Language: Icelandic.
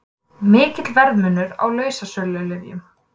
Mikill verðmunur á lausasölulyfjum